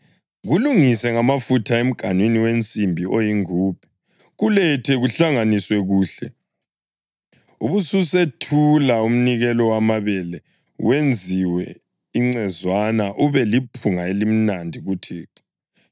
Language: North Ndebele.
Kulungise ngamafutha emganwini wensimbi oyingubhe; kulethe kuhlanganiswe kuhle, ubususethula umnikelo wamabele wenziwe incezwana ube liphunga elimnandi kuThixo.